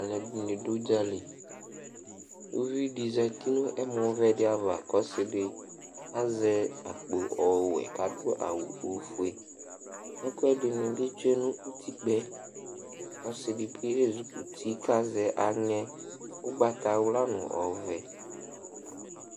aloɛdini do udzali uvi di zati no ɛmɔ vɛ di ava kò ɔse di azɛ akpo ɔwɛ k'ado awu ofue ɛkoɛdini bi tsue no utikpaɛ ɔse di bi ezikuti kazɛ aŋɛ ugbata wla no ɔvɛ